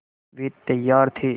वे तैयार थे